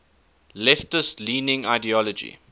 leftist leaning ideology